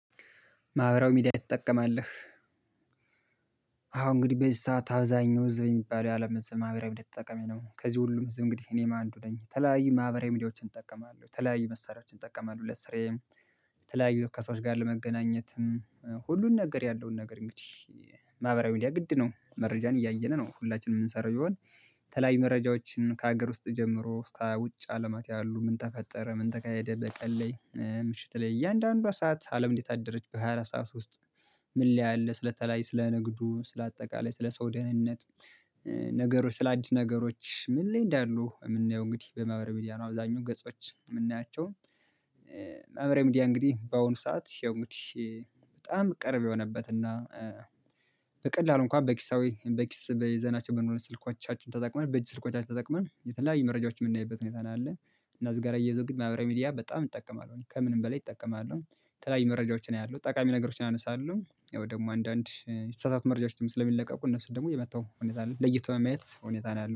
ማህበራዊ ሚዲያ ትጠቀማልህ? አሁን እንግዲህ በዚህ ሰዓት አብዛኛው ህዝብ የሚባለው የአለም ህዝብ ማህበራዊ ተጠቃሚ ነው። ከዚህ ሁሉም ህዝብ እንግዲህ እኔም አንዱ ነኝ። የተለያየ ማህበራዊ ሚዲያዎችን እጠቀማለሁ የተለያዩ መሳሪያዎችን እጠቀማለሁ ለስራየም የተለያዩ ከሰዎች ጋር ለመገናኘትም ሁሉን ነገር ያለውን ነገር እንግዲህ። ማህበራዊ ሚዲያ ግድ ነው መረጃን እያየን ነው ሁላችንም የምንሰራው ቢሆን ተላይ መረጃዎችን ከሀገር ውስጥ ጀምሮ እስከ ውጭ አለማት ያሉ ምን ተፈጠረ ምን ተካሄደ በቀን ላይ ምሽት ላይ እያንዳንዱ ሰዓት አለም እንዴት አደረች በሃያ አራት ሰዓት ውስጥ። ምን ላይ አለ ስለተለያየ ስለ ንግዱ ስለ አጠቃላይ ስለ ሰው ደህንነት። ነገሮች ስለ አዲስ ነገሮች ምን ላይ እንዳሉ የምናየው እንግዲህ በማህበረ ሚዲያ ነው አብዛኛው ገጾች የምናያቸው። ማህበራዊ ሚዲያ እንግዲህ በአሁኑ ሰዓት ያው እንግዲህ በጣም ቅርብ የሆነበት እና በቀላሉ እንኳን በኪሳዊ በኪስ በይዘናቸው ስልኳቻችን ተጠቅመን በእጅ ስልኳቻችን ተጠቅመን የተለያየ መረጃዎች የምናይበት ሁኔታ ነው አለ። እና እዚጋር አያይዞ ግን ማህበራዊ ሚዲያ በጣም እጠቀማለሁ እኔ ከምንም በላይ እጠቀማለሁ። የተለያይ መረጃዎችን አያለሁ ጠቃሚ ነገሮችን አነሳለሁ ያው ደግሞ አንዳንድ መረጃችንም ስለሚለቀቁ እነሱን ደግሞ የመጣው ሁኔታ አለ ለይቶ ማየት ሁኔታ ነው። ያለው